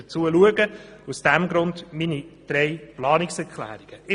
Deshalb habe ich meine Planungserklärungen eingereicht.